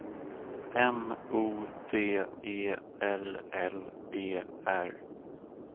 M O D E L L E R